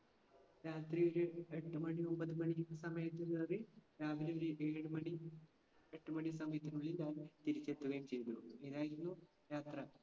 രാത്രില് എട്ട്മണി ഒന്പതുമണി സമയത് കയറി രാവിലെ ഒരു ഏഴുമണി എട്ടുമണി സമയത്തിനുള്ളിൽ ഞാൻ തിരിച്ചെത്തുകയും ചെയ്തു. ഇങ്ങിനെയായിരുന്നു യാത്ര.